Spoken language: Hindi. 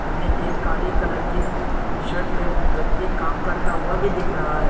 हमें एक काली कलर की टी शर्ट में व्यक्ति काम करता हुआ भी दिख रहा है।